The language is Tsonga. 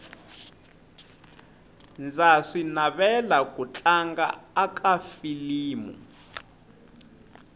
ndza swi navela ku tlanga aka filimu